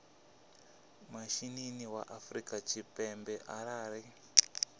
mishinini wa afrika tshipembe arali